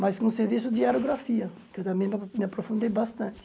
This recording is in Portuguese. Mas com serviço de aerografia, que eu também ma me aprofundei bastante.